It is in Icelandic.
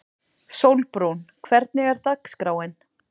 Sólbrún, hvernig er dagskráin?